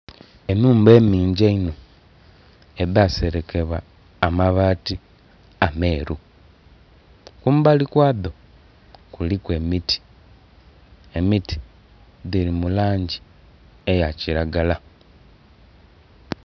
Enhumba enhingi eino edha serekebwa amabaati ameru. Kumbali kwadho kuliku emiti, emiti dhiri mu langi eya kiragala.